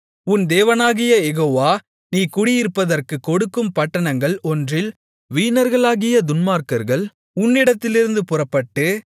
உன் தேவனாகிய யெகோவா நீ குடியிருப்பதற்குக் கொடுக்கும் பட்டணங்கள் ஒன்றில் வீணர்களாகிய துன்மார்க்கர்கள் உன்னிடத்திலிருந்து புறப்பட்டு